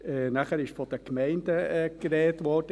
Dann wurde von den Gemeinden gesprochen.